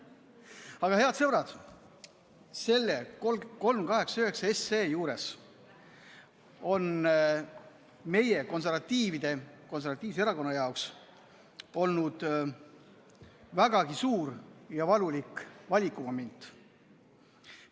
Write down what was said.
Aga, head sõbrad, eelnõu 389 juures on meie konservatiivse erakonna jaoks olnud vägagi suur ja valulik valikumoment.